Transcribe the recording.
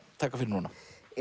taka fyrir núna